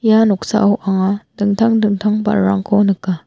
ia noksao anga dingtang dingtang ba·rarangko nika.